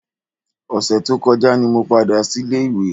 Ọ̀sẹ̀ tó kọjá ni mo padà sílé ìwé